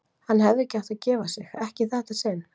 Hann hefði ekki átt að gefa sig, ekki í þetta sinn.